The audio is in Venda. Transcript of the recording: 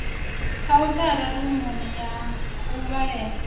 khauthara rumuni ya u vhalela